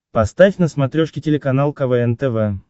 поставь на смотрешке телеканал квн тв